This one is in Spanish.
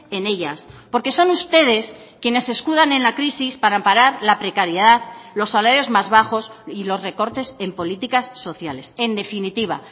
en ellas porque son ustedes quienes se escudan en la crisis para amparar la precariedad los salarios más bajos y los recortes en políticas sociales en definitiva